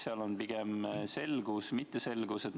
Kas seal on pigem selgus või ebaselgus?